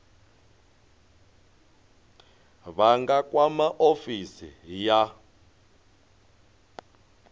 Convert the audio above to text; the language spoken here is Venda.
vha nga kwama ofisi ya